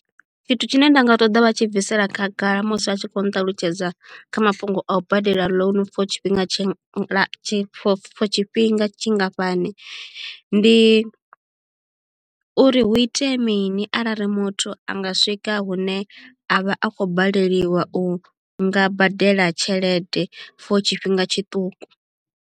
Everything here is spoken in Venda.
Tshithu tshine nda nga ṱoḓa vha tshi bvisela khagala musi a tshi kho nṱalutshedza kha mafhungo a u badela loan for tshifhinga tshi tshi for tshifhinga tshingafhani ndi uri hu itea mini arali muthu anga swika hune a vha a khou baleliwa u nga badela tshelede for tshifhinga tshiṱuku.